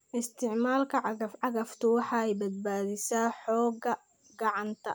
Isticmaalka cagaf-cagaftu waxay badbaadisaa xoogga gacanta.